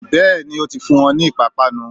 Bẹ́ẹ̀ni, ó ti fún wọn ni ìpápánu